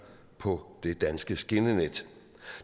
på det danske skinnenet